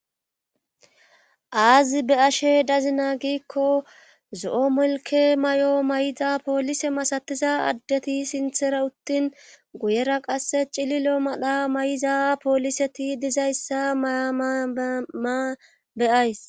Aazi be ashe dazina giikko zo'o molke may'o may'iza poolise masatiza addeti sinthera uttin guyera qasse cililo madha may'iza pooliseti dizayssa mayaama beyays.